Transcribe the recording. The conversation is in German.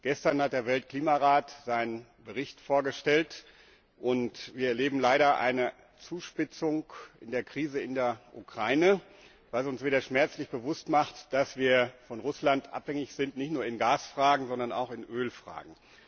Gestern hat der Weltklimarat seinen Bericht vorgestellt, und wir erleben leider eine Zuspitzung der Krise in der Ukraine, was uns wieder schmerzlich bewusst macht, dass wir von Russland abhängig sind, nicht nur in Gasfragen, sondern auch in Ölfragen.